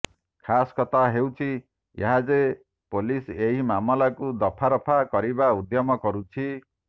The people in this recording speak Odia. ଖାସ୍ କଥା ହେଉଛି ଏହା ଯେ ପୋଲିସ୍ ଏହି ମାମଲାକୁ ରଫାଦଫା କରିବାରେ ଉଦ୍ୟମ କରୁଛି